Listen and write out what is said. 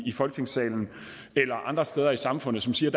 folketingssalen eller andre steder i samfundet som siger